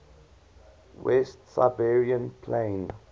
west siberian plain